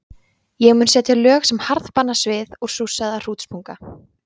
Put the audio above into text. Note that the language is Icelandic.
Ég mun setja lög sem harðbanna svið og súrsaða hrútspunga.